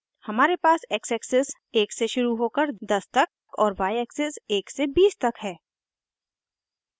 हमारे पास x axis 1 से शुरू होकर 10 तक और y एक्सिस 1 से 20 तक है